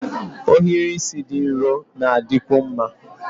Ohiri isi dị nro na-adịkwu mma